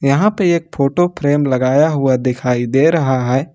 यहां पे एक फोटो फ्रेम लगाया हुआ दिखाई दे रहा है।